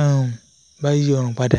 um bá yí ọrùn padà